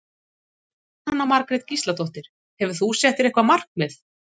Jóhanna Margrét Gísladóttir: Hefur þú sett þér eitthvað markmið?